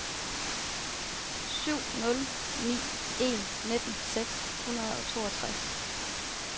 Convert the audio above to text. syv nul ni en nitten seks hundrede og toogtres